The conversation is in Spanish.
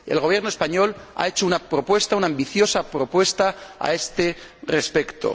El Gobierno español ha hecho una propuesta, una ambiciosa propuesta, a este respecto.